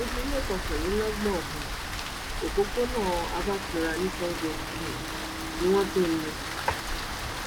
ojúlé kọkànlélọ́gbọ̀n um òpópónà abartura ní sango um ni wọ́n ti mú un